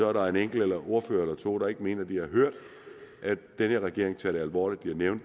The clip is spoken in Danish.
er en enkelt ordfører eller to der ikke mener at de har hørt at den her regering tager det alvorligt men jeg